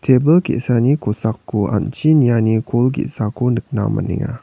tebil ge·sani kosako an·chi niani kol ge·sako nikna man·enga.